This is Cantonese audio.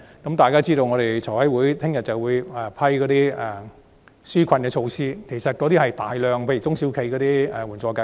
大家也知道財務委員會明天會審議紓困措施，當中包括眾多支援中小企的計劃。